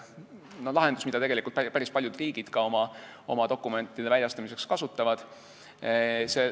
See on lahendus, mida päris paljud riigid oma dokumentide väljastamiseks kasutavad.